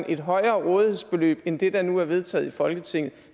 et højere rådighedsbeløb end det der nu er vedtaget i folketinget